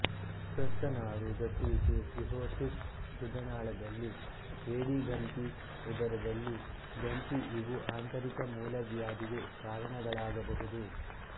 ಯಕೃತ್ತುನಾರು ಗಟ್ಟುವಿಕೆ ಸಿರ್ಹೋಸಿಸ್ ಗುದನಾಳದಲ್ಲಿ ಏಡಿಗಂತಿ ಉದರದಲ್ಲಿ ಗಂತಿ ಇವೂ ಆಂತರಿಕ ಮೂಲವ್ಯಾಧಿಗೆ ಕಾರಣಗಳಾಗಬಹುದು